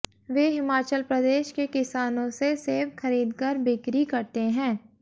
वे हिमाचल प्रदेश के किसानों से सेव खरीदकर बिक्री करते हैं